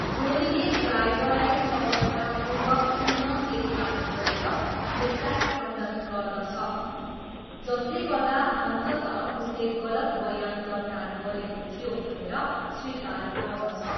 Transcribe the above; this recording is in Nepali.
जोलीले ड्राइभरलाई सफलतापूर्वक पुनः केरकार गरेर यसलाई खण्डन गर्दछ, जसले गर्दा अन्ततः उसले गलत बयान दर्ता गरेको थियो भनेर स्वीकार गर्दछ।